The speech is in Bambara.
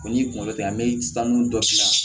O n'i kunkolo tɛ an bɛ taa nun dɔn